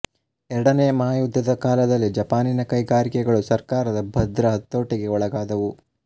ಎರಡನೆಯ ಮಹಾಯುದ್ಧದ ಕಾಲದಲ್ಲಿ ಜಪಾನಿನ ಕೈಗಾರಿಕೆಗಳು ಸರ್ಕಾರದ ಭದ್ರ ಹತೋಟಿಗೆ ಒಳಗಾದುವು